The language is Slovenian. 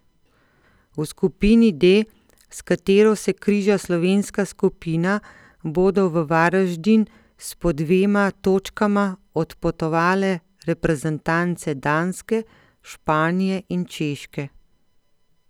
V skupini D, s katero se križa slovenska skupina, bodo v Varaždin s po dvema točkama odpotovale reprezentance Danske, Španije in Češke.